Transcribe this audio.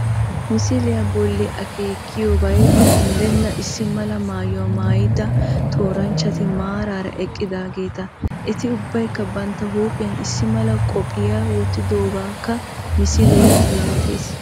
Misiliya bolli akeekiyobay unddenna issi mala maayuwa maayida tooranchchati maaraara eqqidaageeta Eti ubbaykka bantta huuphiyan issi mala qophiya wottidoogaakka misilee yootees